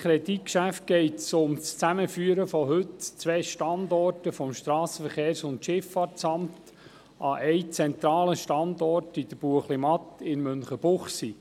Bei diesem Kreditgeschäft geht es um das Zusammenführen von heute zwei Standorten des Strassenverkehrs- und Schifffahrtamts (SVSA) an einem zentralen Standort in der Buechlimatt in Münchenbuchsee.